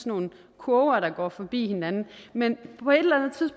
nogle kurver der går forbi hinanden men